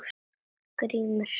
Grímur sagði